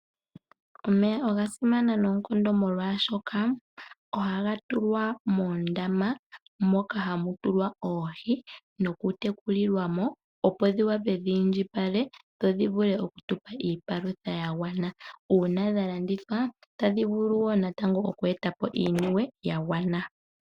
Omeya oga simana noonkondo molwaashoka ohaga tulwa moondama moka hamutulwa oohi noku tekulilwa mo. Opo dhi wape dhi indjipala dho dhi vule oku tupa iipalutha ya gwana . Uuna dha landithwa otadhi vulu wo natango oku etapo iimaliwa ya gwana.